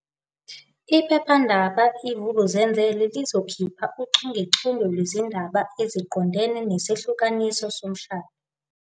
Iphephandaba i-Vukuzenzele lizokhipha uchungechunge lwezindaba eziqondene nesahlukaniso somshado.